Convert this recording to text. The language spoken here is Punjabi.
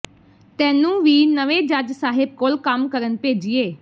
ਤੈਨੂੰ ਵੀ ਨਵੇਂ ਜੱਜ ਸਾਹਿਬ ਕੋਲ ਕੰਮ ਕਰਨ ਭੇਜੀਏ